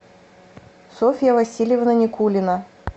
софья васильевна никулина